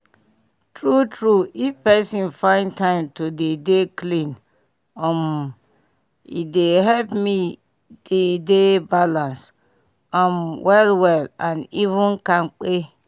true true if pesin find time to dey dey clean um e dey help me dey deh balance um well well and even kampe